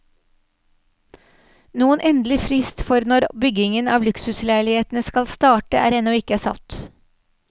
Noen endelig frist for når byggingen av luksusleilighetene skal starte, er ennå ikke satt.